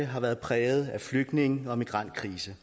har været præget af flygtninge og migrantkrisen